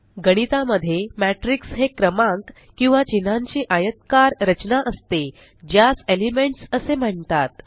गणिता मध्ये मॅट्रिक्स हे क्रमांक किंवा चिन्हांची आयतकार रचना असते ज्यास एलिमेंट्स असे म्हणतात